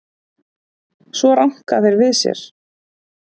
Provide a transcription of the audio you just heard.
Svo ranka þeir við sér.